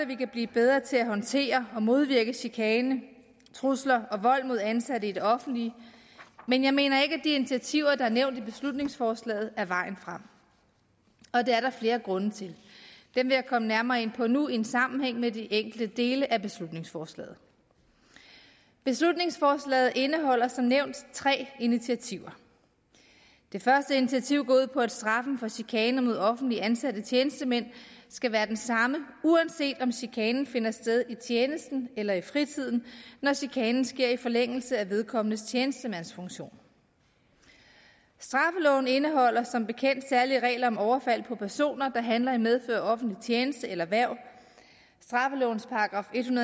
vi kan blive bedre til at håndtere og modvirke chikane trusler og vold mod ansatte i det offentlige men jeg mener ikke at initiativer der er nævnt i beslutningsforslaget er vejen frem og det er der flere grunde til dem vil jeg komme nærmere ind på nu i sammenhæng med de enkelte dele af beslutningsforslaget beslutningsforslaget indeholder som nævnt tre initiativer det første initiativ går ud på at straffen for chikane mod offentligt ansatte tjenestemænd skal være den samme uanset om chikanen finder sted i tjenesten eller i fritiden når chikanen sker i forlængelse af vedkommendes tjenestemandsfunktion straffeloven indeholder som bekendt særlige regler om overfald på personer der handler i medfør af offentlig tjeneste eller hverv straffelovens § en